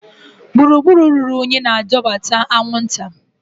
Gburugburu ruru unyi na-adọbata anwụnta.